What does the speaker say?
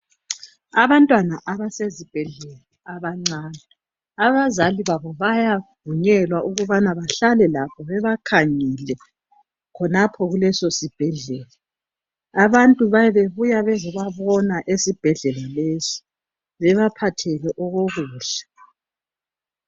Abantwana abasezibhedlela abancane, abazali babo bayavunyelwa ukubana bahlale labo bebakhangele khonapho kuleso sibhedlela. Abantu babe bebuya ukozobabona esibhedlela lesi bebaphathele okokudla.